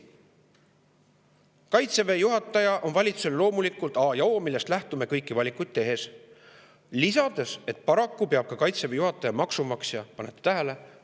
Kaitseväe juhataja on valitsusele loomulikult a ja o, sellest lähtutakse kõiki valikuid tehes, ning lisas, et paraku peab Kaitseväe juhataja maksumaksja – pange tähele!